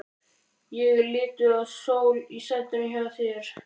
Ég er lituð af sól í sætinu hjá þér.